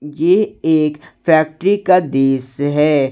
ये एक फैक्ट्री का दृश्य है।